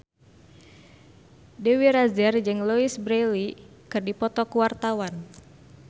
Dewi Rezer jeung Louise Brealey keur dipoto ku wartawan